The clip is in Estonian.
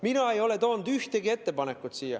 Mina ei ole toonud siia ühtegi ettepanekut.